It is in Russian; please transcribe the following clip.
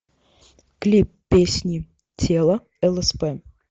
клип песни тело лсп